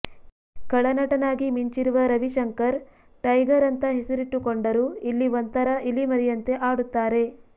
ಖಳನಟನಾಗಿ ಮಿಂಚಿರುವ ರವಿಶಂಕರ್ ಟೈಗರ್ ಅಂತ ಹೆಸರಿಟ್ಟುಕೊಂಡರು ಇಲ್ಲಿ ಒಂಥರಾ ಇಲಿಮರಿಯಂತೆ ಆಡುತ್ತಾರೆ